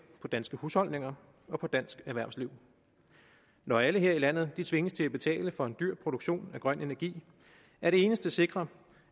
på danske husholdninger og på dansk erhvervsliv når alle her i landet tvinges til at betale for en dyr produktion af grøn energi er det eneste sikre